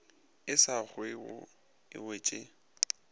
e sa kwego e wetše